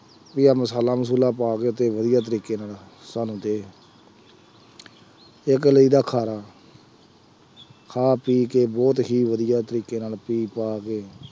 ਵਧੀਆ ਮਸਾਲਾ ਮਸੂਲਾ ਪਾ ਕੇ ਅਤੇ ਵਧੀਆ ਤਰੀਕੇ ਨਾਲ ਸਾਨੂੰ ਦੇ, ਇੱਕ ਲਈਦਾ ਖਾਰਾ, ਖਾ ਪੀ ਕੇ ਬਹੁਤ ਹੀ ਵਧੀਆ ਤਰੀਕੇ ਨਾਲ ਪੀ ਪਾ ਕੇ